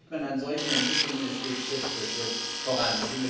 Das sieht man an solchen Entwicklungen Es geht Schritt für Schritt voran.